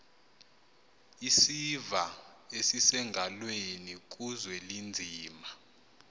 isiva esisengalweni kuzwelinzima